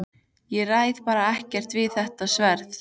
Ég ræð bara ekkert við þetta sverð!